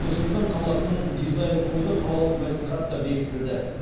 нұр сұлтан қаласының дизайн коды қалалық мәслихатта бекітілді